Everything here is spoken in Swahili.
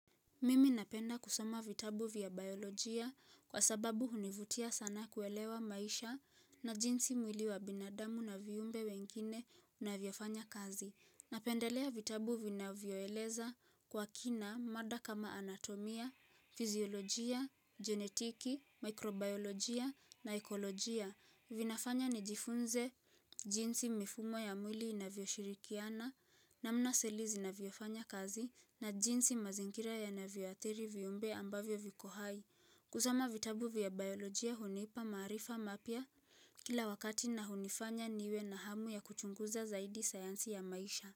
Mimi napenda kusoma vitabu vya biolojia kwa sababu hunivutia sana kuelewa maisha na jinsi mwili wa binadamu na vyumbe wengine unavyofanya kazi. Napendelea vitabu vinavyoeleza kwa kina mada kama anatomia, fizyolojia, genetiki, mikrobiolojia na ekolojia. Vinafanya nijifunze jinsi mifumo ya mwili inavyoshirikiana namna seli zinavyofanya kazi na jinsi mazingira yanavyoathiri viumbe ambavyo viko hai. Kusoma vitabu vya biolojia hunipa maarifa mapya kila wakati na hunifanya niwe na hamu ya kuchunguza zaidi sayansi ya maisha.